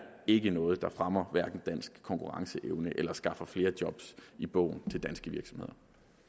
ikke noget der fremmer dansk konkurrenceevne eller skaffer flere job i bogen til danske virksomheder